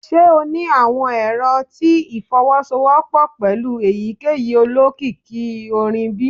Ṣe o ni awọn ero ti ifowosowopo pẹlu eyikeyi olokiki orin bi?